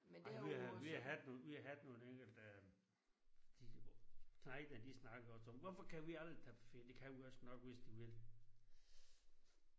Ej men vi har vi har haft nogen vi har haft nogle enkelte der de knejtene de snakker også om hvorfor kan vi aldrig tage på ferie det kan vi også nok hvis de vil